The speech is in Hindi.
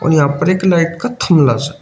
और यहां पर एक लाइट का थमलस--